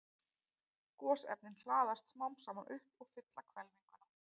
Gosefnin hlaðast smám saman upp og fylla hvelfinguna.